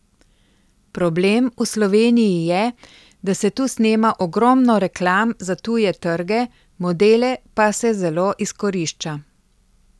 Problem v Sloveniji je, da se tu snema ogromno reklam za tuje trge, modele pa se zelo izkorišča.